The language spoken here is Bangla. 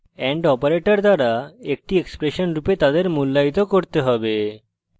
and operator দ্বারা একটি expression রূপে তাদের মূল্যায়িত করতে have